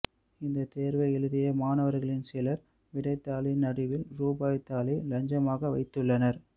இந்த தேர்வை எழுதிய மாணவர்களில் சிலர் விடைத்தாளின் நடுவில் ரூபாய் தாளை லஞ்சமாக வைத்துள்ளனர்